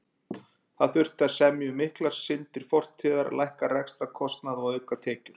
Það þurfti að semja um miklar syndir fortíðar, lækka rekstrarkostnað og auka tekjur.